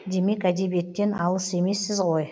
демек әдебиеттен алыс емессіз ғой